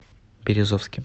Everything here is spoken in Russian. березовским